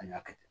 An y'a kɛ ten